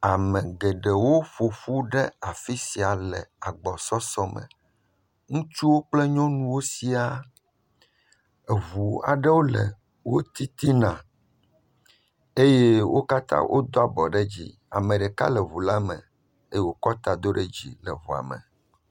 Ame geɖewo ƒoƒu ɖe afisia le agbɔsɔsɔ me. Ŋutsu kple nyɔnuwo sĩa. Eʋu aɖe le wò titina eye wò katã wò do abo ɖe dzi. Ame ɖeka le ʋu la me eye wokɔ ta ɖe dzi